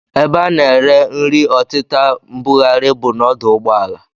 Ebe a na-ere nri ọtịta mbugharị bụ n'ọdụ ụgbọala